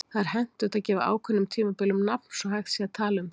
Það er hentugt að gefa ákveðnum tímabilum nafn svo hægt sé að tala um þau.